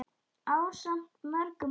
ásamt mörgum öðrum.